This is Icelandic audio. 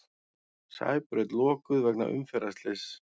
Sæbraut lokuð vegna umferðarslyss